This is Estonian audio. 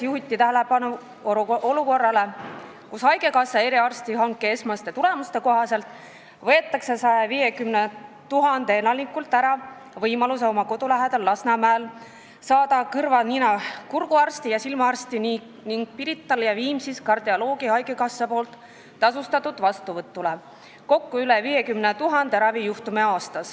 Juhiti tähelepanu olukorrale, kus haigekassa eriarstiabi hanke esmaste tulemuste kohaselt võetakse 150 000 elanikult ära võimalus oma kodu lähedal Lasnamäel saada kõrva-nina-kurguarsti ja silmaarsti ning Pirital ja Viimsis kardioloogi haigekassa tasustatud vastuvõtule .